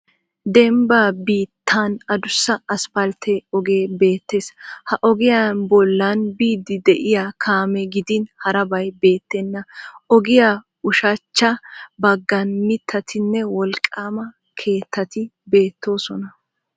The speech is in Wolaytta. Dembba biittan adussa aspaltte ogee beettes. Ha ogiyaa bollan biidi diyaa kaame gidin harabbay beettenna. Ogiya ushshachcha baggan mittatinne wolqqaama keettati beettosona.